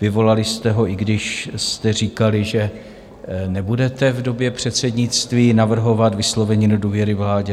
Vyvolali jste ho, i když jste říkali, že nebudete v době předsednictví navrhovat vyslovení nedůvěry vládě.